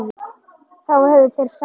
Þá hefðu þeir sagt það.